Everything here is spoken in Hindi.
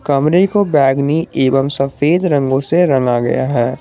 कमरे को बैगनी एवं सफेद रंगो से रंगा गया है।